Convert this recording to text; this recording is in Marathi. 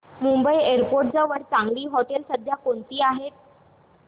मुंबई एअरपोर्ट जवळ चांगली हॉटेलं सध्या कोणती आहेत